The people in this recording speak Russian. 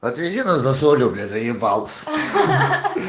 отвези нас за солью бля заебал